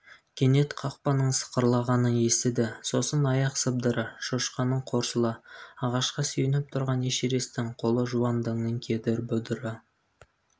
кенет қақпаның сықырлағанын естіді сосын аяқ сыбдыры шошқаның қорсылы ағашқа сүйеніп тұрған эшересттің қолы жуан діңнің кедір-бұдыр